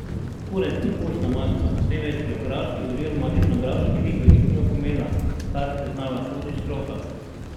Kurent ni pustna maska, temveč geografski oziroma etnografski lik velikega pomena, kar priznava tudi stroka.